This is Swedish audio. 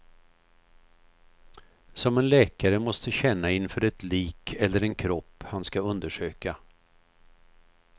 Som en läkare måste känna inför ett lik eller en kropp han ska undersöka.